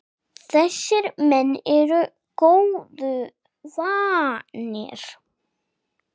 Þessir menn eru góðu vanir.